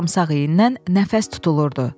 Sarımsağı yeyəndən nəfəs tutulurdu.